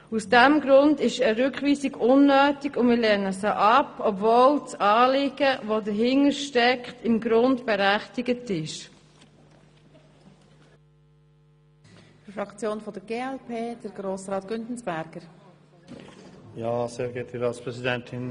Aus diesem Grund ist eine Rückweisung unnötig, und wir lehnen sie ab, obwohl das dahintersteckende Anliegen im Grunde genommen berechtigt ist.